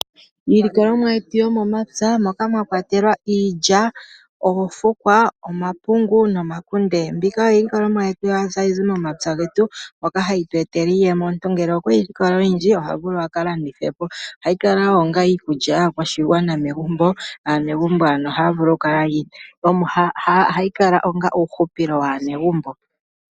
Iilikolomwa yetu yomomapya moka mwakwatelwa iilya , oofukwa, omapungu nomakunde. Mbika oyo iilikolomwa yetu hayi zi momapya getu moka hayi tu etele iiyemo. Omuntu ngele okwa kola oyindji oha vulu aka landithepo. Ohayi kala wo onga iikulya yakwashigwana megumbo naanegumbo oha kala ano ohayi kala onga hupilo waanegumbo.